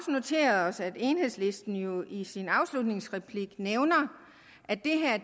noteret os at enhedslisten jo i sin afslutningsreplik nævner at det her